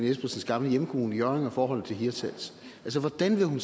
espersens gamle hjemkommune hjørring og kommunens forhold til hirtshals altså hvordan